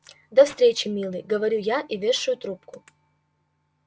до встречи милый говорю я и вешаю трубку